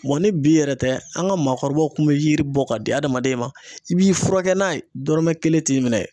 ni bi yɛrɛ tɛ an ka maakɔrɔbaw kun bɛeyiri bɔ ka di adamaden ma i b'i furakɛ n'a ye dɔrɔmɛ kelen t'i minɛ.